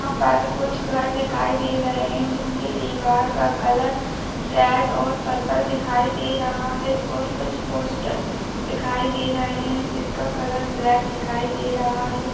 यहाँ पर कुछ घर दिखाई दे रहे हैं जिनकी दीवार का कलर रेड और पर्पल दिखाई दे रहा है और कुछ पोस्टर दिखाई दे रहे हैं जिनका कलर ब्लैक दिखाई दे रहा है।